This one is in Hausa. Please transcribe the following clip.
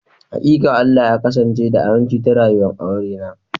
Hakika, Allah ya kasance da aminci ta rayuwa'n aure na.